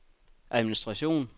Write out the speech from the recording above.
administration